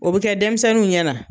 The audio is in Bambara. O bɛ kɛ denmisɛnninw ɲɛna